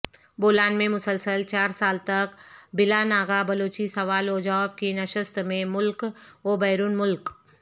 بولان میں مسلسل چارسال تک بلاناغہ بلوچی سوال وجواب کی نشست میں ملک وبیرون ملک